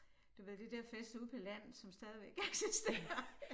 Du ved det det fest ude på landet som stadigvæk eksisterer